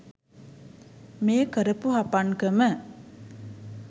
මේ කරපු හපන්කම